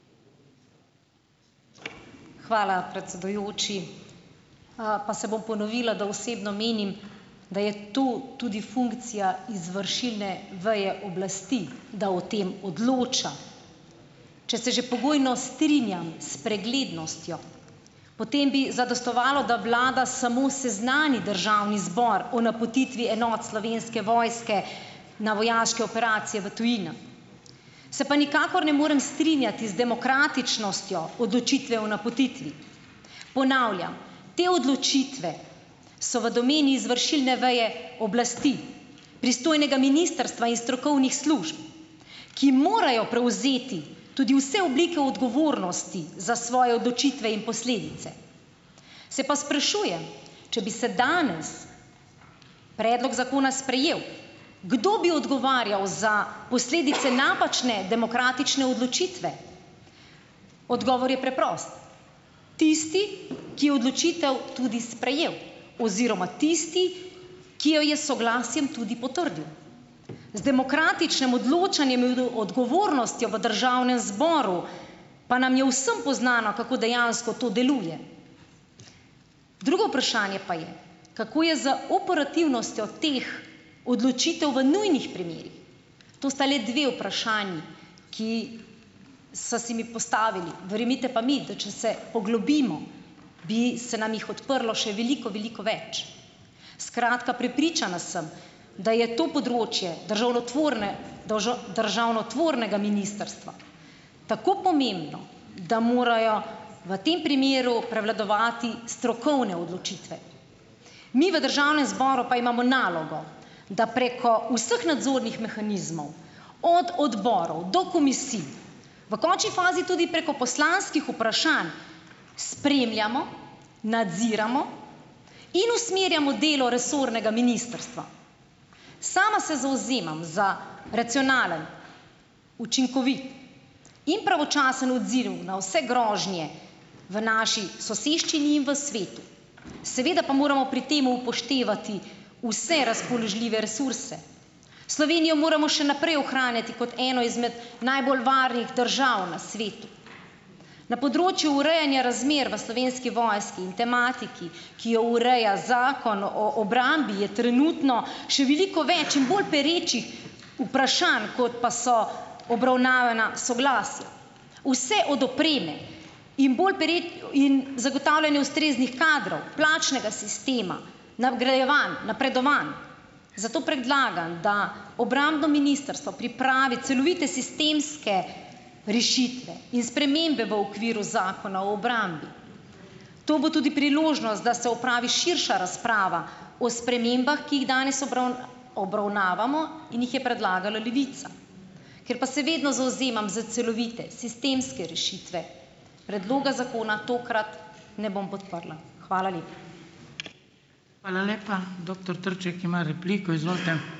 Hvala, predsedujoči. Pa se bom ponovila, da osebno menim, da je to tudi funkcija izvršilne veje oblasti, da o tem odloča. Če se že pogojno strinjam s preglednostjo, potem bi zadostovalo, da vlada samo seznani državni zbor o napotitvi enot Slovenske vojske na vojaške operacije v tujino. Se pa nikakor ne morem strinjati z demokratičnostjo odločitve o napotitvi. Ponavljam, te odločitve so v domeni izvršilne veje oblasti, pristojnega ministrstva in strokovnih služb, ki morajo prevzeti tudi vse oblike odgovornosti za svoje odločitve in posledice. Se pa sprašujem, če bi se danes predlog zakona sprejel, kdo bi odgovarjal za posledice napačne demokratične odločitve. Odgovor je preprost. Tisti, ki je odločitev tudi sprejel. Oziroma tisti, ki jo je s soglasjem tudi potrdil. Z demokratičnim odločanjem odgovornostjo v državnem zboru pa nam je vsem poznano, kako dejansko to deluje. Drugo vprašanje pa je, kako je z operativnostjo teh odločitev v nujnih primerih. To sta le dve vprašanji, ki sta se mi postavili. Verjemite pa mi, da če se poglobimo, bi se nam jih odprlo še veliko, veliko več. Skratka, prepričana sem, da je to področje državnotvorne državnotvornega ministrstva tako pomembno, da morajo v tem primeru prevladovati strokovne odločitve. Mi v državnem zboru pa imamo nalogo, da preko vseh nadzornih mehanizmov - od odborov, do komisij, v končni fazi tudi preko poslanskih vprašanj spremljamo, nadziramo in usmerjamo delo resornega ministrstva. Sama se zavzemam za racionalen, učinkovit in pravočasen odziv na vse grožnje v naši soseščini in v svetu, seveda pa moramo pri temu upoštevati vse razpoložljive resurse. Slovenijo moramo še naprej ohranjati kot eno izmed najbolj varnih držav na svetu. Na področju urejanja razmer v Slovenski vojski in tematiki, ki jo ureja Zakon o o obrambi je trenutno še veliko več in bolj perečih vprašanj, kot pa so obravnavana soglasja. Vse od opreme in bolj in zagotavljanja ustreznih kadrov, plačnega sistema, nagrajevanj, napredovanj, zato predlagam, da obrambno ministrstvo pripravi celovite sistemske rešitve in spremembe v okviru Zakona o obrambi. To bo tudi priložnost, da se opravi širša razprava o spremembah, ki jih danes obravnavamo in jih je predlagala Levica. Ker pa se vedno zavzemam za celovite sistemske rešitve, predloga zakona tokrat ne bom podprla. Hvala lepa.